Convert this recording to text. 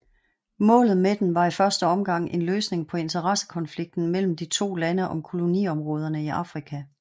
Målet med den var i første omgang en løsning på interessekonflikten mellem de to lande om koloniområderne i Afrika